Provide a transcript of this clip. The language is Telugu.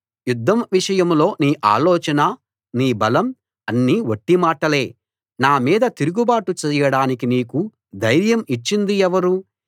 యుద్ధం విషయంలో నీ ఆలోచన నీ బలం అన్నీ వట్టి మాటలే నా మీద తిరుగుబాటు చెయ్యడానికి నీకు ధైర్యం ఇచ్చింది ఎవరు